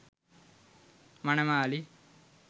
manamali